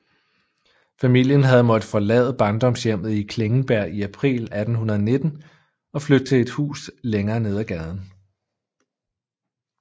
Familien havde måttet forlade barndomshjemmet i Klingenberg i april 1819 og flytte til et hus længere nede ad gaden